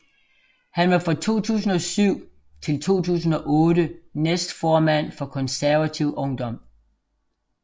Han var fra 2007 til 2008 næstformand for Konservativ Ungdom